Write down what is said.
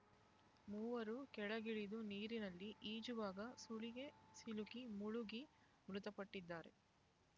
ಮೂವರು ಕೆಳಗಿಳಿದು ನೀರಿನಲ್ಲಿ ಈಜುವಾಗ ಸುಳಿಗೆ ಸಿಲುಕಿ ಮುಳುಗಿ ಮೃತಪಟ್ಟಿದ್ದಾರೆ